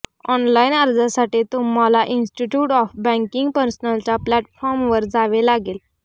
online अर्जासाठी तुम्हाला institute of banking पर्सनलच्या प्लॅटफॉर्मवर जावे लागेल